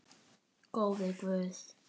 Góði Guð.